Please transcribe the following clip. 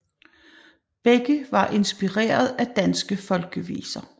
Begge var inspireret af danske folkeviser